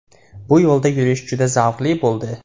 Bu yo‘lda yurish juda zavqli bo‘ldi.